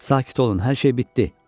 Sakit olun, hər şey bitdi!"